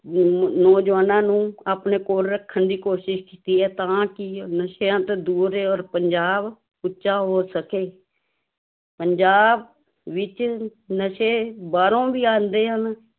ਨ ਨੌਜਵਾਨਾਂ ਨੂੰ ਆਪਣੇ ਕੋਲ ਰੱਖਣ ਦੀ ਕੋਸ਼ਿਸ਼ ਕੀਤੀ ਹੈ ਤਾਂ ਕਿ ਉਹ ਨਸ਼ਿਆਂ ਤੋਂ ਦੂਰ ਰਹੇ ਔਰ ਪੰਜਾਬ ਉੱਚਾ ਹੋ ਸਕੇ ਪੰਜਾਬ ਵਿੱਚ ਨਸ਼ੇ ਬਾਹਰੋਂ ਵੀ ਆਉਂਦੇ ਹਨ।